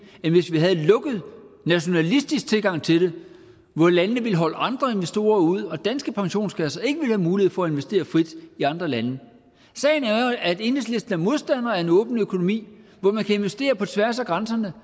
end hvis vi havde en lukket nationalistisk tilgang til det hvor landene ville holde andre investorer ude så danske pensionskasser ikke ville have mulighed for at investere frit i andre lande sagen er jo at enhedslisten er modstander af en åben økonomi hvor man kan investere på tværs af grænserne